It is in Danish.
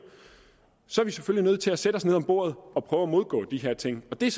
så er vi selvfølgelig nødt til at sætte os ned bordet og prøve at modgå de her ting det er